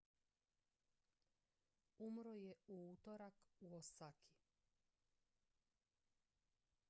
umro je u utorak u osaki